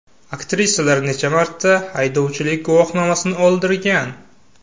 Aktrisalar necha marta haydovchilik guvohnomasini oldirgan?.